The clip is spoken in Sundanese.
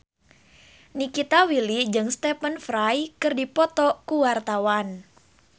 Nikita Willy jeung Stephen Fry keur dipoto ku wartawan